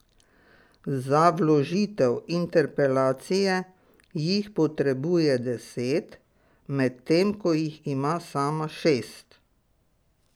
Za vložitev interpelacije jih potrebuje deset, medtem ko jih ima sama šest.